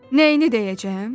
Nəyini deyəcəyəm?